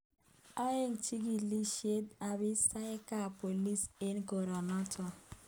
Ae chikilisyet abisaiyek ab bolis eng korenoto